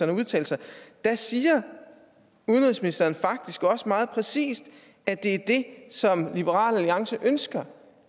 har udtalt sig siger udenrigsministeren faktisk også meget præcist at det er det som liberal alliance ønsker